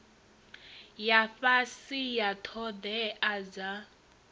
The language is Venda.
ya fhasi ya ṱhoḓea dza